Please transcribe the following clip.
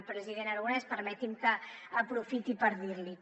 president aragonès permeti’m que aprofiti per dirl’hi